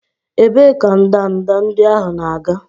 Ebee ka ndanda ndị ahụ na-aga?